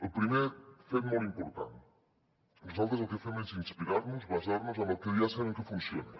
el primer fet molt important nosaltres el que fem és inspirar nos basar nos en el que ja sabem que funciona